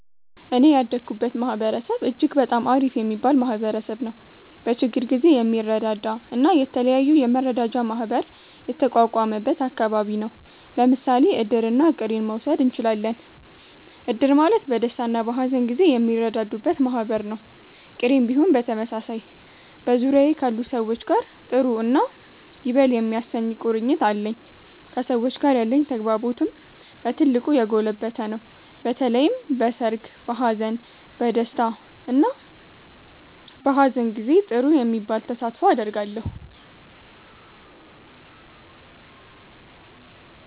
እኔ ያደኩበት ማህበረሰብ እጅግ በጣም አሪፍ የሚባል ማህበረሰብ ነዉ። በችግር ጊዜ የሚረዳዳ እና የተለያዩ የመረዳጃ ማህበር የተቋቋመበት አከባቢ ነው። ለምሳሌ እድርና ቅሬን መዉሰድ እችላለን። እድር ማለት በደስታና በሀዘን ጊዜ የሚረዳዱበት ማህበር ነው፤ ቅሬም ቢሆን በተመሳሳይ። በዙሪያዬ ካሉ ሰዎች ጋር ጥሩ እና ይበል የሚያሰኝ ቁርኝት አለኝ። ከሰዎች ጋር ያለኝ ተግባቦትም በ ትልቁ የጎለበተ ነው። በተለይም በሰርግ፣ በሃዘን፣ በ ደስታ እና በሃዘን ጊዜ ጥሩ የሚባል ተሳትፎ አደርጋለሁ።